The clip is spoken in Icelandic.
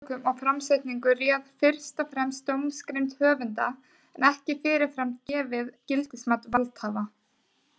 Efnistökum og framsetningu réð fyrst og fremst dómgreind höfunda en ekki fyrirfram gefið gildismat valdhafa.